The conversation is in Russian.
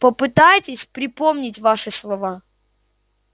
попытайтесь припомнить ваши слова